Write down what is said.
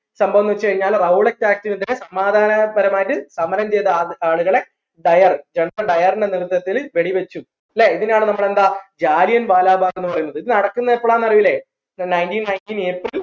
സംഭവംന്ന് വെച് കഴിഞ്ഞാൽ rowlatt act നെതിരെ സമാദാനപരമായിട്ട് സമരം ചെയ്ത ആൾ ആളുകളെ ഡയർ വെടി വെച്ചു ല്ലേ ഇതിനാണ് നമ്മൾ എന്താ ജാലിയൻ വാല ബാഗ് എന്ന് പറയുന്നത് ഇത് നടക്കുന്നെ എപ്പോളാ അറിയൂലെ nineteen nineteen April